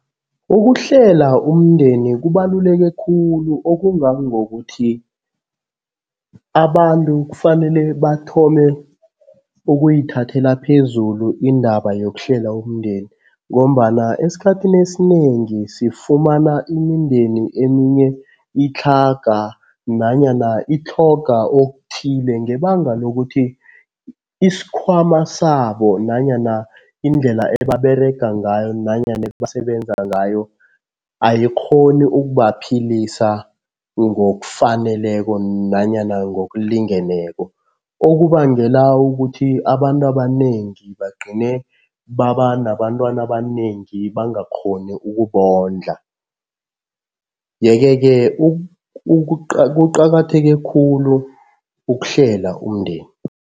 Ukuhlela umndeni kubaluleke khulu okungangokuthi abantu kufanele bathome ukuyithathela phezulu indaba yokuhlela umndeni ngombana esikhathini esinengi sifumana imindeni eminye itlhaga nanyana itlhoga okuthile ngebanga lokuthi isikhwama sabo nanyana indlela ebaberega ngayo, nanyana ebasebenza ngayo ayikghoni ukubaphilisa ngokufaneleko nanyana ngokulingeneko. Okubangela ukuthi abantu abanengi bagcine baba nabantwana abanengi bangakghoni ukubondla, yeke-ke kuqakatheke khulu ukuhlela umndeni.